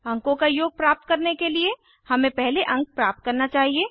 अंकों का योग प्राप्त करने के लिए हमें पहले अंक प्राप्त करना चाहिए